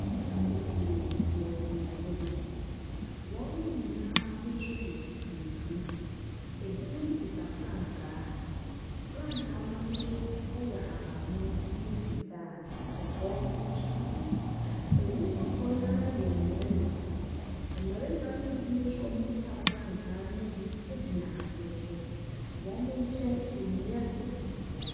Nnipa bebiree gyinagyina beaeɛ bi. Wɔn nyinaa ahosuo tuntum. Ebinom kuta frankaa. Frankaa n’ahosuo yɛ ahaban mono ne fitaa, kɔkɔɔ nso wom. Emu dodoɔ no ara yɛ mmarima. Mmarima no bi nso a wɔkuta frankaa no mu bi gyina adeɛ so. Wɔn nkyɛn nnua sisi hɔ.